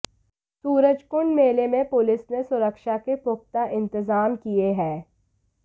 सूरजकुंड मेले में पुलिस ने सुरक्षा के पुख्ता इंतजाम किए है